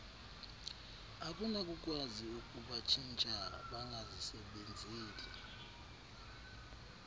akunakukwazi ukubatshintsha bangazisebenzeli